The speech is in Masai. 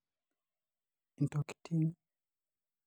ntokiting.